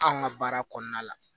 Anw ka baara kɔnɔna la